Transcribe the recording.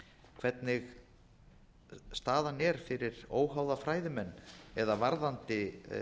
hvernig staðan er fyrir óháða fræðimenn eða varðandi